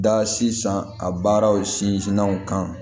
Da sizan a baaraw sinzinw kan